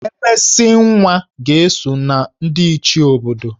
Emesinwa ga-eso na ndị Ichie obodo